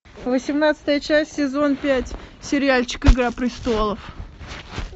восемнадцатая часть сезон пять сериальчик игра престолов